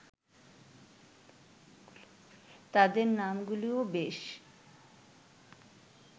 তাদের নামগুলোও বেশ